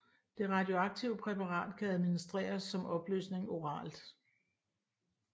Det radioaktive præparat kan administreres som opløsning oralt